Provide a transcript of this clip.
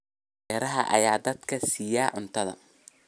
Beeraha ayaa dadka siiya cunto.